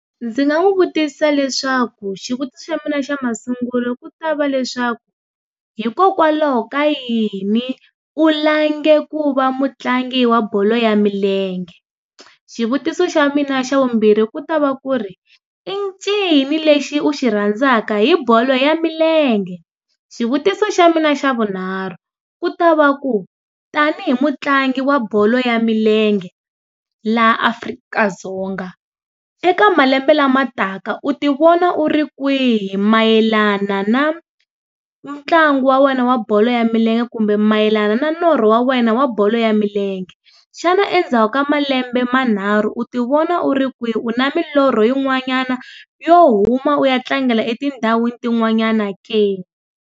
Ndzi nga n'wi vutisa leswaku, xivutiso xa mina xa masungulo ku ta va leswaku, hikokwalaho ka yini u lange ku va mutlangi wa bolo ya milenge? Xivutiso xa mina xa vumbirhi ku ta va ku ri, i ncini lexi u xi rhandzaka hi bolo ya milenge? Xivutiso xa mina xa vunharhu, ku ta va ku, tanihi mutlangi wa bolo ya milenge, laha Afrika-Dzonga, eka malembe lama taka, u ti vona u ri kwihi mayelana na ntlangu wa wena wa bolo ya milenge kumbe mayelana na norho wa wena wa bolo ya milenge? Xana endzhaku malembe manharhu u ti vona u ri kwihi? U na milorho yin'wanyana yo huma u ya tlangela etindhawini ti n'wanyana ke?